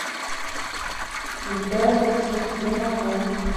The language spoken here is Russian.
витальевский где находится